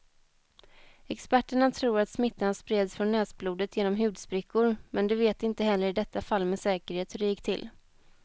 Experterna tror att smittan spreds från näsblodet genom hudsprickor, men de vet inte heller i detta fall med säkerhet hur det gick till.